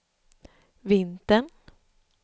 vintern